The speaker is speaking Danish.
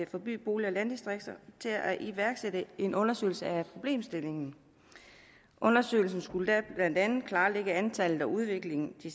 for by bolig og landdistrikter til at iværksætte en undersøgelse af problemstillingen undersøgelsen skulle blandt andet klarlægge antallet af og udviklingen i